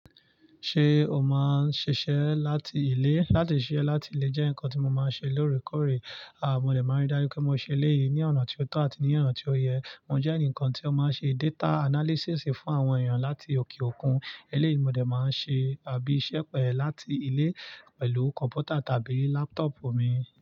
Ṣé o máa ń ṣiṣẹ́ láti ilé? Látí ṣiṣẹ́ láti ilé jẹ́ nǹkan tí mo máa ń ṣe lóòrèkóòrè. Aà, mo dẹ̀ máa ń ri dájú pé mo ṣe eléyìí ní ọ̀nà tí ó tọ̀ àti ní ọ̀nà tí ó yẹ. Mo jẹ́ ẹnìkan tí ó máa ń ṣe data analysis fún àwọn èèyàn láti òkè òkun. Eléyìí mo dẹ̀ máa ń ṣe àbí iṣẹ́ pẹ̀ ẹ́ láti ilé pẹ̀lú kọ̀ǹpútà tàbí laptop mi.